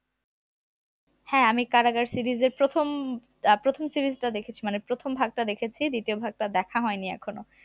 হ্যাঁ আমি কারাগার series এর প্রথম আহ প্রথম series টা দেখেছি মানে প্রথম ভাগটা দেখেছি দ্বিতীয় ভাগটা দেখা হয়নি এখনো